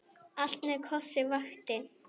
Allt með kossi vakti.